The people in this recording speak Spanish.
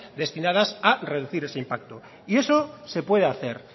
destinadas a reducir ese impacto y eso se puede hacer